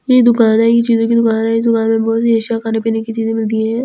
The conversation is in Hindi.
ये दुकान है ये चीजों की दुकान में इस दुकान में बहुत ईर्ष्या खाने पीने की चीज़े मिलती है।